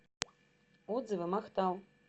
отзывы махтал